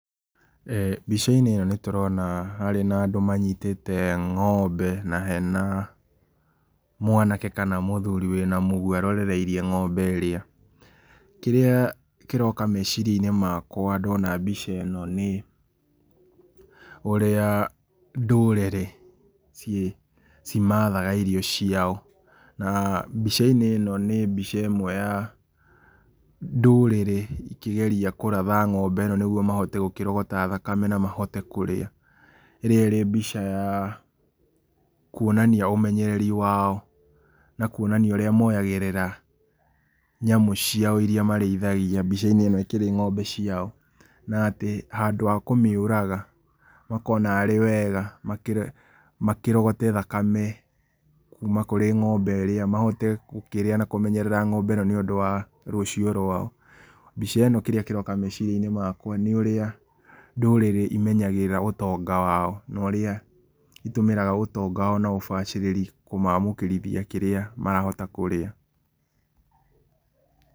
Mbica-inĩ ĩno nĩ tũrona, harĩ na andũ manyitĩte ng'ombe na hena, mwanake kana muthuri wena mũgwa arorereirie ng'ombe ĩrĩa, kĩrĩa kĩroka meciria-inĩ makwa ndona mbica ĩno nĩ, ũrĩa ndũrĩrĩ, ciĩ, cimathaga irio ciao na mbica-inĩ ĩno nĩ mbica ĩmwe ya ndũrĩrĩ ikĩgeria kũratha ng'ombe ĩno nĩguo mahote gũkĩrogota thakame na mahote kũrĩa, ĩrĩa ĩ mbica ya kuonania ũmenyereri wao na kuonia ũrĩa moyagĩrĩra nyamu ciao iria marĩithagia mbica-inĩ ĩkĩrĩ ngombe ciao na atĩ handũ ha kũmĩũraga makona arĩ wega makĩro makĩrogote thakame kuma kũrĩ ngombe ĩrĩa mahote gũkĩrĩa na kũmenyerera ngombe ĩno nĩ ũndũ wa rũcio rwao. Mbica ĩno kĩrĩa kĩroka meceria-inĩ makwa nĩ ũrĩa, ndũrĩrĩ imenyagĩrĩra ũtonga wao, na ũrĩa ĩtũmagĩra ũtonga wao na ũrĩa itũmagĩra ũtonga wao na ũbacĩrĩri kũmamũkĩrithia kĩrĩa, marahota kũrĩa.